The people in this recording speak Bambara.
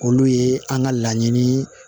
Olu ye an ka laɲini